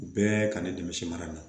Bɛɛ ka ne dɛmɛ misi mara la